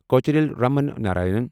Kocheril Raman Narayanan